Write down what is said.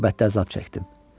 Qürbətdə əzab çəkdim.